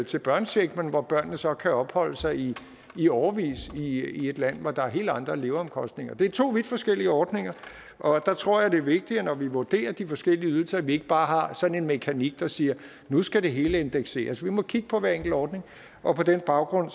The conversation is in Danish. til børnecheck men hvor børnene så kan opholde sig i i årevis i et land hvor der er helt andre leveomkostninger det er to vidt forskellige ordninger jeg tror det er vigtigt når vi vurderer de forskellige ydelser at vi ikke bare har sådan en mekanik der siger at nu skal det hele indekseres vi må kigge på hver enkelt ordning og på den baggrund